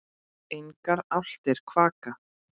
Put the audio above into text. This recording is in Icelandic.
Engar álftir kvaka.